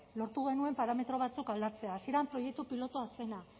lortu genuen parametro batzuk aldatzea hasieran proiektu pilotoa zena